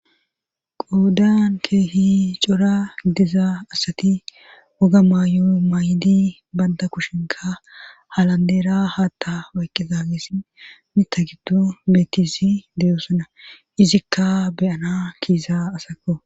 Qoodan keehi cora gidiza asati woga maayo maay7idi banda kushinka halandeera haatta wayqqizagesi mita gitu beetisi deyosona izikka beyana kiisa asako